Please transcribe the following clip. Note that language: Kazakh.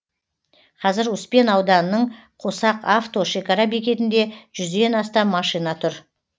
қазір успен ауданының қосақ авто шекара бекетінде жүзден астам машина тұр